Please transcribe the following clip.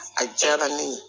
A diyara ne ye